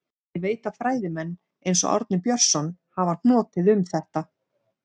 Ég veit að fræðimenn, eins og Árni Björnsson, hafa hnotið um þetta.